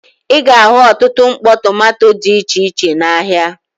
Ị ga-ahụ ọtụtụ mkpọ tomanto dị iche iche n'ahịa.